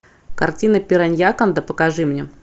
картина пираньяконда покажи мне